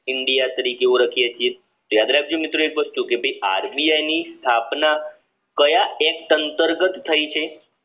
India તરીકે ઓળખીએ છીએ યાદ રાખજો કે ભાઈ આરબીઆઈની સ્થાપના કયા એક અંતર્ગત થઈ છે